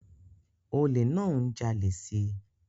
Olè náà ń jalè si